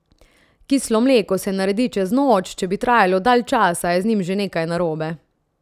Kislo mleko se naredi čez noč, če bi trajalo dalj časa, je z njim že nekaj narobe.